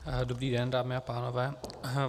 Dobrý den, dámy a pánové.